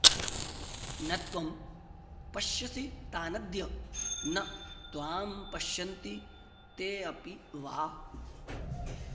न त्वं पश्यसि तानद्य न त्वां पश्यन्ति तेऽपि वा